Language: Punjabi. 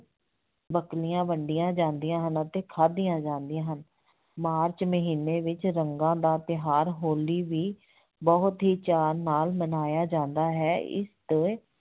ਵੰਡੀਆਂ ਜਾਂਦੀਆਂ ਹਨ ਅਤੇ ਖਾਦੀਆਂ ਜਾਂਦੀਆਂ ਹਨ, ਮਾਰਚ ਮਹੀਨੇ ਵਿੱਚ ਰੰਗਾਂ ਦਾ ਤਿਉਹਾਰ ਹੋਲੀ ਵੀ ਬਹੁਤ ਹੀ ਚਾਅ ਨਾਲ ਮਨਾਇਆ ਜਾਂਦਾ ਹੈ, ਇਸ ਤੋਂ